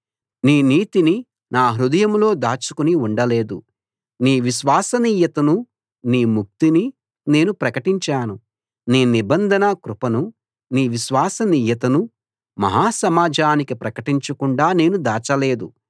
నీ నీతిని నా హృదయంలో దాచుకుని ఉండలేదు నీ విశ్వసనీయతనూ నీ ముక్తినీ నేను ప్రకటించాను నీ నిబంధన కృపనూ నీ విశ్వసనీయతనూ మహా సమాజానికి ప్రకటించకుండా నేను దాచలేదు